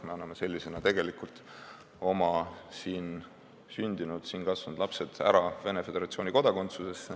Me anname sellega siin sündinud ja siin kasvanud lapsed ära Venemaa Föderatsiooni kodakondsusse.